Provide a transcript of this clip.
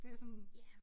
Det er sådan